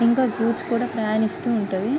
ఇంకా గూడ్స్ కూడా ప్రయాణిస్తూ ఉంటది.